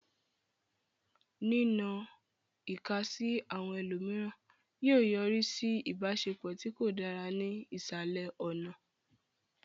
Nínọ ìka sí àwọn ẹlòmíràn yóò yọrí sí ìbáṣepọ̀ tí kò dára ní ìsàlẹ̀ ọ̀nà.